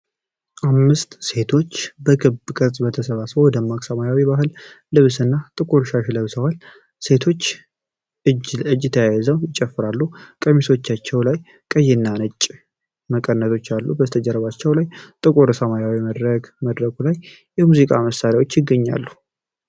አምስት ሴቶች በክብ ቅርጽ ተሰባስበው በደማቅ ሰማያዊ ባህላዊ ልብስ እና ጥቁር ሻሽ ለብሰዋል። ሴቶቹ እጅ ለእጅ ተያይዘው ይጨፍራሉ፣ ቀሚሶቻቸው ላይ ቀይና ነጭ መቀነቶች አሉ። ከጀርባዎቻቸው ላይ ጥቁር ሰማያዊ መድረክ፣ መድረኩ ላይ የሙዚቃ መሣሪያዎች ይገኛሉ።